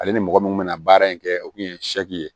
Ale ni mɔgɔ min bɛna baara in kɛ o kun ye ye